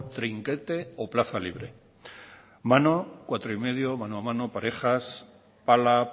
trinquete o plaza libre mano cuatro y medio mano a mano parejas pala